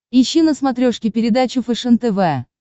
ищи на смотрешке передачу фэшен тв